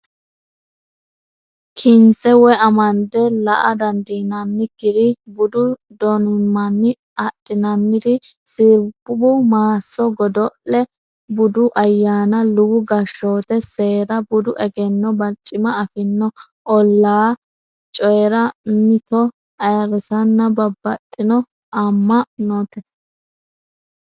kinse woy amande la a dandiinannikkiri budu donimmanni adhinanniri sirbu maasso godo le budu ayyaanna luwu gashshoote seera budu egenno barcima affino allaa le coyi ra mimmito ayirrisanna babbaxxino amma note.